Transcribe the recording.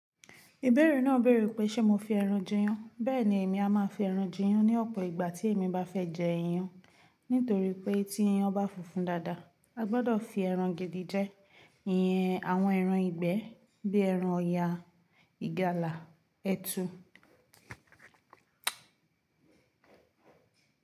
Ìbẹ̀rẹ̀ náà béèrè pé ṣe mo fi ẹran jẹ iyán. Bẹ́ẹ̀ni, èmi a máa fi ẹran jẹ iyán ní ọ̀pọ̀ ìgbà tí èmi bá fẹ jẹ iyán. Nítorí pé tí iyán bá funfun dáadáa, a gbọ́dọ̀ fi ẹran gidi jẹ. Ìyẹn, àwọn ẹran ìgbẹ́ bí ẹran ọ̀yà, ìgalà, ẹtu.